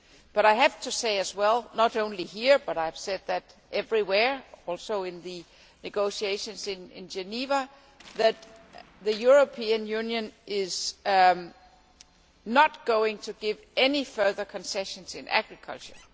But I have to say as well not only here, but I have said it elsewhere, including in the negotiations in Geneva that the European Union is not going to give any further concessions in agriculture.